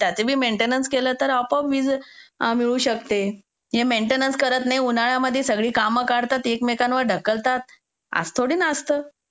त्याचे बी मेंटेनन्स केले तर आपोआपे वीज मिळू शकते हे मेंटेनन्स करत नाही उन्हाळ्यात सगळी कामं कळत काढतात सगळे एकमेकांवर ढकलतात असं थोडी असतं.